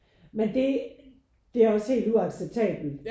Men det det er også helt uacceptabelt